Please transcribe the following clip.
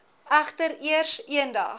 egter eers eendag